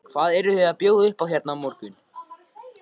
Hvað eruð þið að bjóða upp á hérna á morgun?